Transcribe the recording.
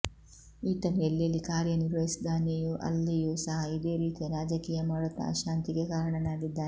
ಈತನು ಎಲ್ಲಿಲ್ಲಿ ಕಾರ್ಯನಿರ್ವಹಿಸಿದ್ದಾನೆಯೂ ಅಲ್ಲಿಯೂ ಸಹ ಇದೇ ರೀತಿಯ ರಾಜಕೀಯ ಮಾಡುತ್ತಾ ಅಶಾಂತಿಗೆ ಕಾರಣನಾಗಿದ್ದಾನೆ